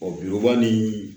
bi ban ni